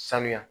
Sanuya